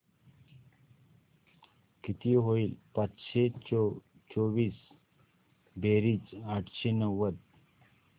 किती होईल पाचशे चोवीस बेरीज आठशे नव्वद